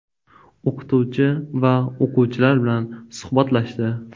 O‘qituvchi va o‘quvchilar bilan suhbatlashdi.